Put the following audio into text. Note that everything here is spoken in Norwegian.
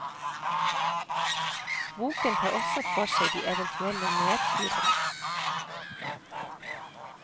Boken tar også for seg de eventuelle nedturene.